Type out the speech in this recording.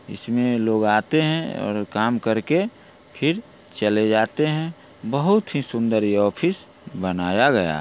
इसमें लोग आते हैं और काम करके फिर चले जाते हैं| बहुत ही सुंदर ये ऑफिस बनाया गया है।